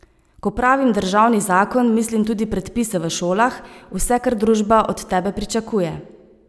Ko pravim državni zakon, mislim tudi predpise v šolah, vse, kar družba od tebe pričakuje.